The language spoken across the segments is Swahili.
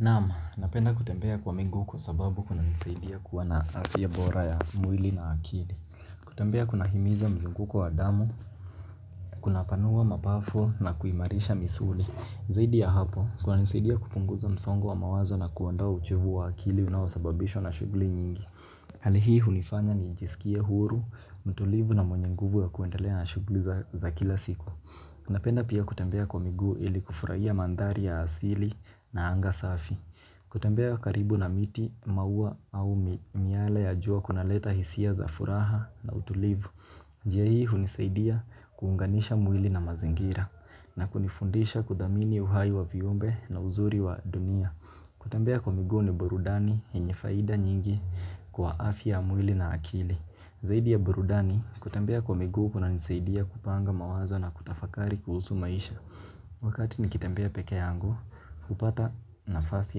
Naam, napenda kutembea kwa miguu kwa sababu kunanisaidia kuwa na afya bora ya mwili na akili. Kutembea kunahimiza mzunguko wa damu, kunapanua mapafu na kuimarisha misuli. Zaidi ya hapo, kunanisaidia kupunguza msongo wa mawazo na kuondoa uchovu wa akili unaosababishwa na shughli nyingi. Hali hii hunifanya nijisikie huru, mtulivu na mwenye nguvu ya kuendelea na shughli za kila siku. Napenda pia kutembea kwa miguu ili kufurahia mandhari ya asili na anga safi. Kutembea karibu na miti maua au miale ya jua kunaleta hisia za furaha na utulivu. Jia hii hunisaidia kuunganisha mwili na mazingira na kunifundisha kuthamini uhai wa viumbe na uzuri wa dunia kutembea kwa miguu ni burudani yenye faida nyingi kwa afya ya mwili na akili. Zaidi ya burudani kutembea kwa miguu kunanisaidia kupanga mawazo na kutafakari kuhusu maisha. Wakati nikitembea peke yangu, hupata nafasi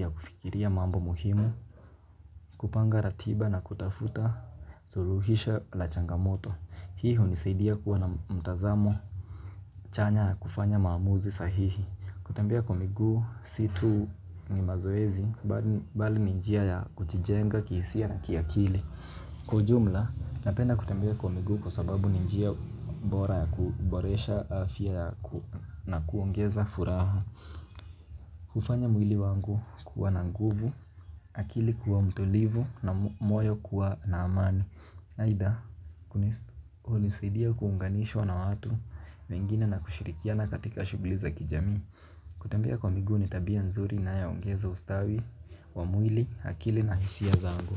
ya kufikiria mambo muhimu, kupanga ratiba na kutafuta suruhisha la changamoto. Hii hunisaidia kuwa na mtazamo chanya ya kufanya maamuzi sahihi. Kutembea kwa miguu, si tu ni mazoezi, bali ni njia ya kujijenga kihisia na kiakili. Kwa ujumla napenda kutembea kwa miguu kwa sababu ni njia bora ya kuboresha afya na kuongeza furaha hufanya mwili wangu kuwa na nguvu, akili kuwa mtulivu na moyo kuwa na amani aidha hunisidia kuunganishwa na watu wengine na kushirikiana katika shughli za kijamii. Kutembea kwa miguu ni tabia nzuri inayo ongeza ustawi, wa mwili, akili na hisia zangu.